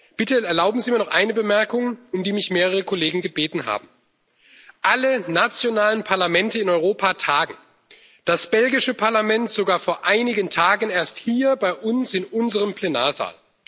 Bitte erlauben Sie mir noch eine Bemerkung, um die mich mehrere Kollegen gebeten haben Alle nationalen Parlamente in Europa tagen, das belgische Parlament sogar vor einigen Tagen erst hier bei uns in unserem Plenarsaal.